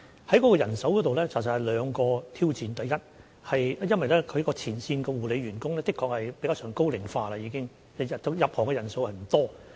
在人手方面，其實有兩項挑戰，第一，前線護理員工確實有高齡化的情況，新加入行業的人數不多。